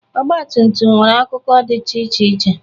Ọgbatumtum nwere akụkụ dịcha iche iche.